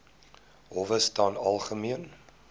howe staan algemeen